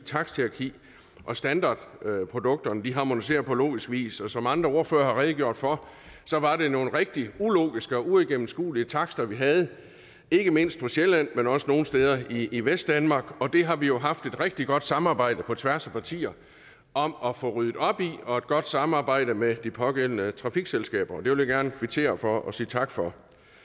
taksthierarki og standardprodukterne harmoniseres på logisk vis som andre ordførere har redegjort for var det nogle rigtig ulogiske og uigennemskuelige takster vi havde ikke mindst på sjælland men også nogle steder i vestdanmark og det har vi jo haft et rigtig godt samarbejde på tværs af partier om at få ryddet op i og et godt samarbejde med de pågældende trafikselskaber og det vil jeg gerne kvittere for og sige tak for